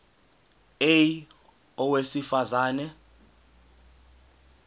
a owesifaz ane